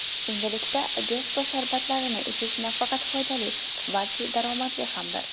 Endilikda Jesco sharbatlarini ichish nafaqat foydali, balki daromadli hamdir!